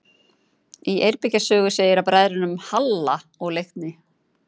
Í Eyrbyggja sögu segir af bræðrunum Halla og Leikni: